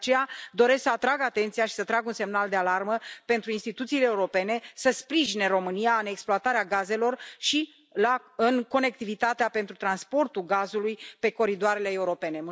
De aceea doresc să atrag atenția și să trag un semnal de alarmă pentru instituțiile europene să sprijine România în exploatarea gazelor și în conectivitatea pentru transportul gazului pe coridoarele europene.